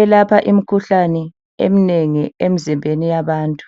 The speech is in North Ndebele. elapha imikhuhlane eminengi emzimbeni yabantu.